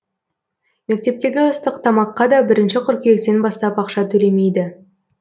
мектептегі ыстық тамаққа да бірінші қыркүйектен бастап ақша төлемейді